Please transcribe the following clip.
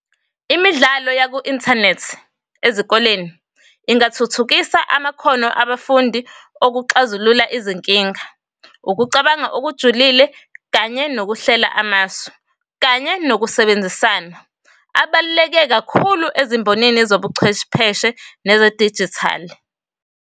Imidlalo yaku-inthanethi ezikoleni ingathuthukisa amakhono abafundi okuxazulula izinkinga, ukucabanga okujulile, kanye nokuhlela amasu, kanye nokusebenzisana. Abaluleke kakhulu ezimboneni zobuchwepheshe neze-dijithali.